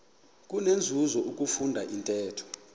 kunenzuzo ukufunda intetho